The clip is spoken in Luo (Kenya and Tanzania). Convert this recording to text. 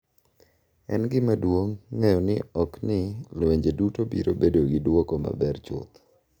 En gima duong’ ng’eyo ni ok ni lwenje duto biro bedo gi duoko maber chuth.